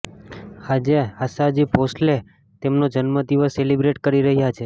આજે આશાજી ભોંસલે તેમનો જન્મ દિવસ સેલિબ્રેટ કરી રહ્યા છે